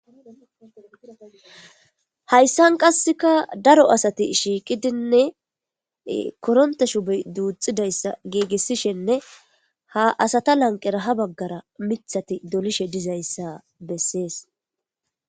Haysan qassekka daro asati shiqidi koronte shoboy duxidaysa gigisishenne ha asata lanqera ha bagara mithati dollishe dizzaysa beses.